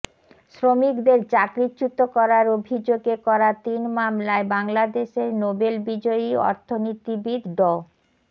শ্রমিকদের চাকরিচ্যুত করার অভিযোগে করা তিন মামলায় বাংলাদেশের নোবেল বিজয়ী অর্থনীতিবিদ ড